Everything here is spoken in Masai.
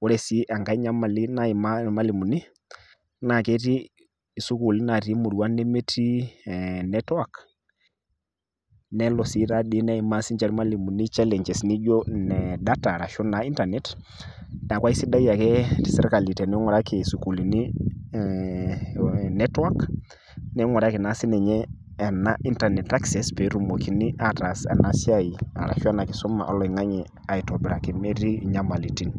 Ore sii engai nyamali naimaa ilmalimuni naaketii isukuli naatii imuruan nemetii ee network neelo sii taadi neimaa ilmalimuni challenges nijo nee data arashu  internet neaku aisidai ake tesirkali teneing'uraki isukulini ee network neing'uraki naa sininye ena internet access peetumokini aataas enasiai arashu ena kisuma oloing'ang'e aitobiraki metii inyamalitin.